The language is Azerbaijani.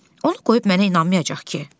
Onu qoyub mənə inanmayacaq ki?